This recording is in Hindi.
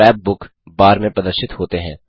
वे स्क्रैप बुक बार में प्रदर्शित होते हैं